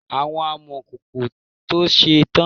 Àwọn amọkòkò to ṣe tán.